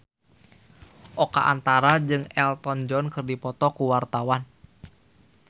Oka Antara jeung Elton John keur dipoto ku wartawan